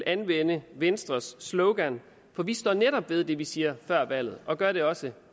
anvende venstres slogan for vi står netop ved det vi siger før valget og det gør vi også